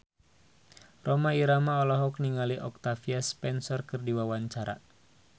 Rhoma Irama olohok ningali Octavia Spencer keur diwawancara